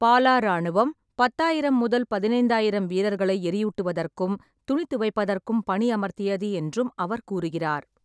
பாலா இராணுவம் பத்தாயிரம் முதல் பதினைந்தாயிரம் வீரர்களை எரியூட்டுவதற்கும் துணி துவைப்பதற்கும் பணியமர்த்தியது என்றும் அவர் கூறுகிறார்.